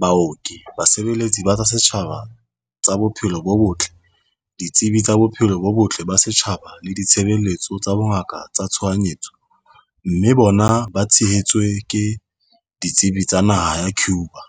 baoki, basebeletsi ba tsa setjhaba ba tsa bophelo bo botle, ditsebi tsa bophelo bo botle ba setjhaba le ditshebeletso tsa bongaka tsa tshohanyetso, mme bona ba tshehetswe ke ditsebi tsa naha ya Cuba.